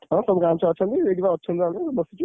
ହଁ ଗାଁ ଛୁଆ ଅଛନ୍ତି ସେଠିପା ଅଛନ୍ତି ସବୁ